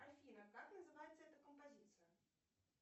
афина как называется эта композиция